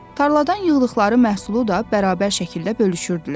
Tarladan yığdıqları məhsulu da bərabər şəkildə bölüşürdülər.